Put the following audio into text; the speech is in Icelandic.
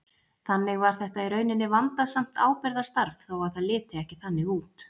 Þannig var þetta í rauninni vandasamt ábyrgðarstarf þó að það liti ekki þannig út.